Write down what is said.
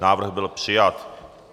Návrh byl přijat.